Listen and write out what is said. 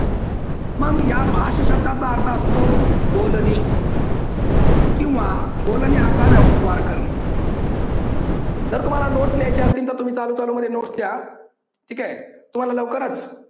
मग या भाष शब्दाचा अर्थ असतो बोलणे किंवा बोलण्याचा व्यवहार करणे. जर तुम्हाला नोट्स लिहायचे असतील, तर तुम्ही चालू चालू मध्ये नोट्स लिहा. ठीक आहे. तुम्हाला लवकरच